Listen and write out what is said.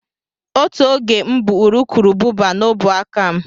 Otu oge m bu urukurubụba n'ọbụ aka m.